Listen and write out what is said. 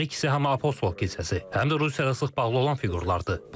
Hər ikisi həm Apostol kilsəsi, həm də Rusiyaya sıx bağlı olan fiqurlardır.